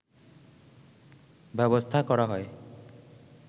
ব্যবস্থা করা হয়